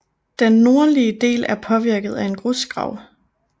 Den nordlige del er påvirket af en grusgrav